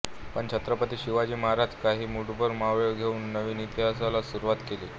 पण छत्रपती शिवाजी महाराज काही मुटभर मावळे घेऊन नवीन इतिहासाला सुरवात किली